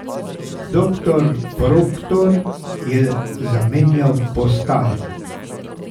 Doktor Proktor je zamenjal postajo.